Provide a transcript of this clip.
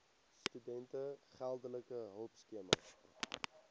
studente geldelike hulpskema